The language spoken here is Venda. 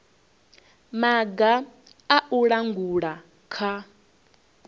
maga a u langula kha